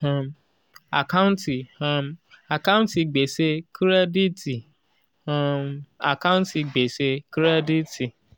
um àkántì um àkántì gbèsè kírẹ́díítì um àkántì gbèsè kírẹ́díítì